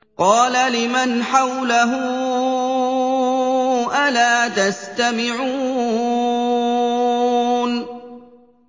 قَالَ لِمَنْ حَوْلَهُ أَلَا تَسْتَمِعُونَ